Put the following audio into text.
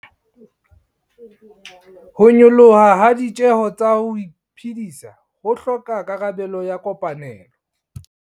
Ho nyoloha ha ditjeho tsa ho iphedisa ho hloka karabelo ya kopanelo